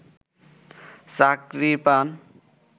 চাকরি পান